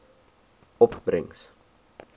opbrengs